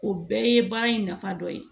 O bɛɛ ye baara in nafa dɔ ye